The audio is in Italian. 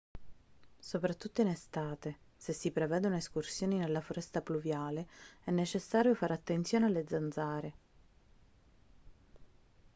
soprattutto in estate se si prevedono escursioni nella foresta pluviale è necessario fare attenzione alle zanzare